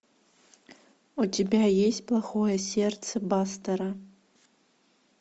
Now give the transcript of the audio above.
у тебя есть плохое сердце бастера